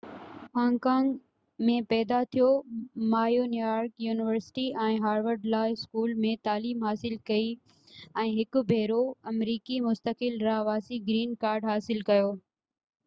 Hong Kong ۾ پيدا ٿيو ما New York university ۽ Harvard law school ۾ تعليم حاصل ڪئي ۽ هڪ ڀيرو آمريڪي مستقل رهواسي گرين ڪارڊ حاصل ڪيو